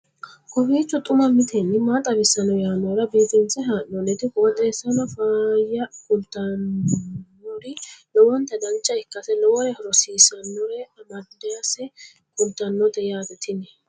kowiicho xuma mtini maa xawissanno yaannohura biifinse haa'noonniti qooxeessano faayya kultannori lowonta dancha ikkase lowore rosiisannore amadase kultannote yaate tini